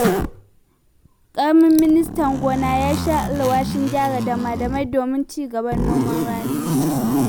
Ƙaramin Ministan gona ya sha alwashin gyara dama-damai domin ci gaba da noman rani.